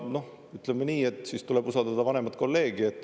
Ütleme nii, et siis tuleb usaldada vanemat kolleegi.